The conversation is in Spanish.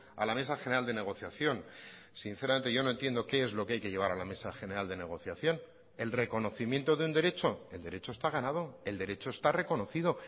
a la mesa general de negociación sinceramente yo no entiendo qué es lo que hay que llevar a la mesa general de negociación el reconocimiento de un derecho el derecho está ganado el derecho está reconocido